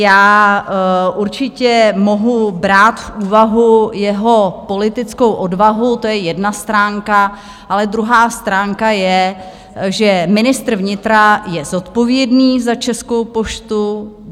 Já určitě mohu brát v úvahu jeho politickou odvahu, to je jedna stránka, ale druhá stránka je, že ministr vnitra je zodpovědný za Českou poštu.